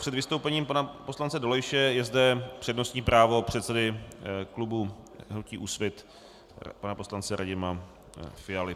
Před vystoupením pana poslance Dolejše je zde přednostní právo předsedy klubu hnutí Úsvit pana poslance Radima Fialy.